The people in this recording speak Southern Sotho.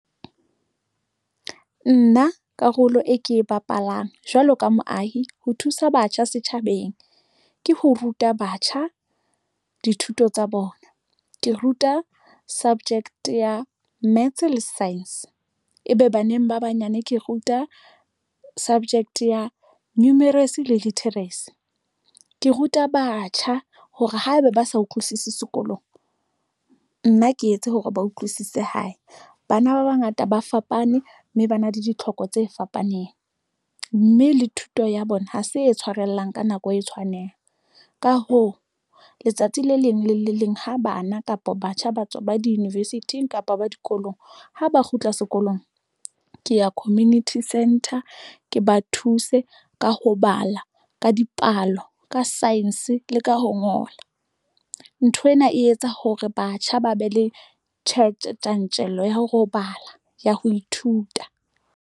Nna karolo e ke e bapalang jwalo ka moahi ho thusa batjha setjhabeng ke ho ruta batjha dithuto tsa bona ke ruta subject ya maths le science ebe baneng ba banyane ke ruta subject ya numerous le literacy ke ruta batjha hore haeba ba sa utlwisise sekolong, nna ke etse hore ba utlwisise hae. Bana ba bangata ba fapane mme ba na le ditlhoko tse fapaneng mme le thuto ya bona ha se e tshwarellang ka nako, e tshwanang ka hoo, letsatsi le leng le le leng. Ha bana kapa batjha ba tswa ba di-university-ing kapa ba dikolong ha ba kgutla sekolong ke ya community centre, ke ba thuse ka ho bala ka dipalo ka science le ka ho ngola. Nthwena e etsa hore batjha ba be le tjantjello ya ho bala ya ho ithuta